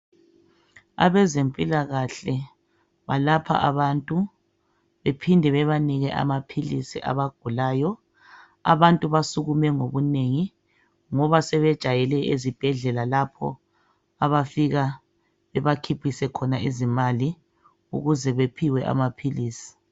Abezempilakahle balapha abantu bephinde bebanike amaphilisi abagulayo. Abantu basukume ngobunengi ngoba sebejwayele ezibhendlela lapho abafika bebakhiphise khona izimali ukuze bephiwe amaphilisi